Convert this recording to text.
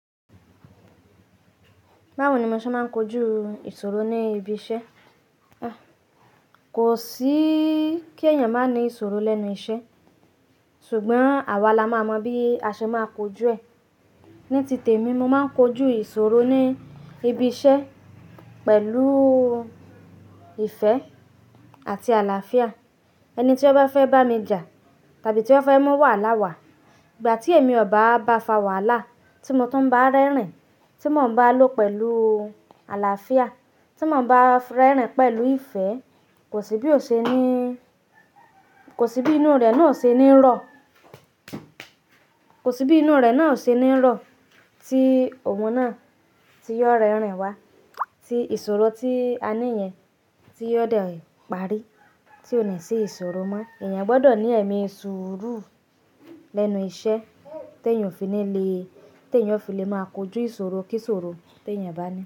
Báwo ni mo ṣe máa ń kojú ìṣòro ní ibi iṣẹ́? Kò sí kí èèyàn má ní ìṣòro lẹ́nu iṣẹ́, ṣùgbọ́n àwa la máa mọ bí a ṣe máa kojú ẹ̀. Ní tìtẹ̀ mi, mo máa ń kojú ìṣòro ní ibi iṣẹ́ pẹ̀lú ìfẹ́ àti àlàáfíà. Ẹni tí ó bá fẹ́ bá mi jà tàbí tí ó fẹ́ mú wàhálà wá, ìgbà tí èmi ò bá ba fa wàhálà, tí mo tó bá rẹ́rìn, tí mò ń bá lò pẹ̀lú àlàáfíà, tí mò ń bá rẹ́rìn pẹ̀lú ìfẹ́, kò sí bí o ṣe ní-- kò sí bí inú rẹ̀ náà ṣe ní rọ. Kò sí bí inú rẹ̀ náà ṣe ní rọ tí ohun náà tí yóò rẹ́rìn wá, tí ìṣòro tí a ní yẹn tí yóò dẹ̀ pàrí, tí ò ní ṣe ìṣòro mọ́. Ẹ̀yàn gbọ́dọ̀ ní ẹ̀mí ìṣòro lẹ́nu iṣẹ́ tí èèyàn fi ní le, tí èèyàn fi le máa kojú ìṣòro kí ìṣòro tí èèyàn bá ní.